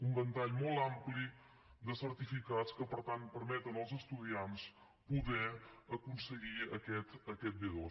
un ventall molt ampli de certificats que per tant permeten als estudiants poder aconseguir aquest b2